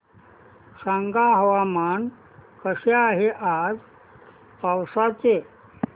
सांगा हवामान कसे आहे आज पावस चे